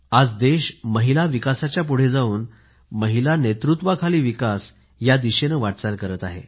आज देश महिला विकासाच्या पुढे जाऊन महिला नेतृत्वाखाली विकास या दिशेने वाटचाल करत आहे